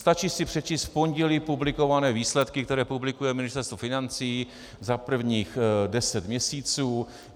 Stačí si přečíst v pondělí publikované výsledky, které publikuje Ministerstvo financí za prvních deset měsíců.